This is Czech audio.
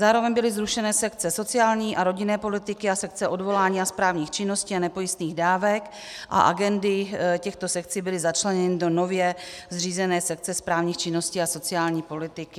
Zároveň byly zrušeny sekce sociální a rodinné politiky a sekce odvolání a správních činností a nepojistných dávek a agendy těchto sekcí byly začleněny do nově zřízené sekce správních činností a sociální politiky.